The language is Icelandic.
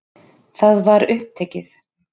Það var upptekið.